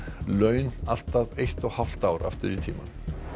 laun allt að eitt og hálft ár aftur í tímann